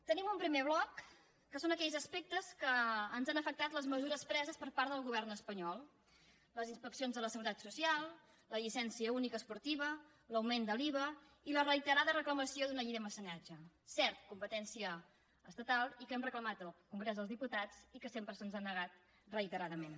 tenim un primer bloc que són aquells aspectes en què ens han afectat les mesures preses per part del govern espanyol les inspeccions de la seguretat social la llicència única esportiva l’augment de l’iva i la reiterada reclamació d’una llei de mecenatge cert competència estatal i que hem reclamat en el congrés dels diputats i que sempre se’ns ha negat reiteradament